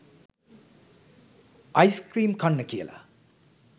ice cream කන්න කියලා